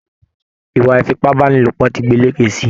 Ìwà ifipabanilopo tí gbélékè sí.